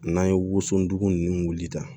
N'an ye wosodon ninnu wulita